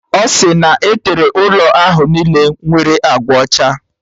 Ọ si na e tere ụlọ ahụ niile nwere agba ọcha